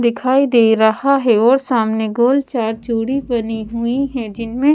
दिखाई दे रहा है और सामने गोल चार चूड़ी बनी हुई है जिनमें--